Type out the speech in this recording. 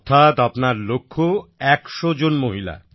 অর্থাৎ আপনার লক্ষ্য ১০০ জন মহিলা